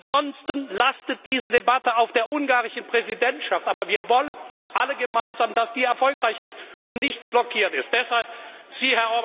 Ansonsten lastet diese Debatte auf der ungarischen Präsidentschaft. Aber wir wollen alle gemeinsam, dass sie erfolgreich ist und nicht blockiert wird.